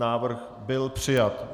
Návrh byl přijat.